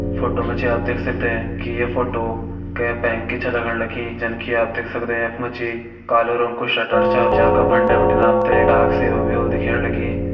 Photo मा जी आप देख सकदें की ये फोटो के बैंक की छ लगण लगी जन की आप देख सकदें यख मा जी कालो रंग को शटर छ जा का फंडे बिटिन आप थें डाक सेवा भी होली दिखेण लगी।